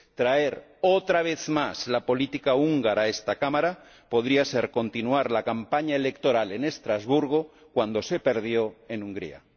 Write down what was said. Traer, otra vez más, la política húngara a esta Cámara podría ser continuar la campaña electoral en Estrasburgo cuando se perdió en Hungría.